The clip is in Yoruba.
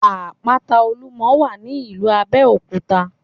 Àpáta Olúmo wà ní ìlú Abéòkúta